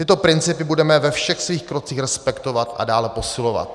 Tyto principy budeme ve všech svých krocích respektovat a dále posilovat."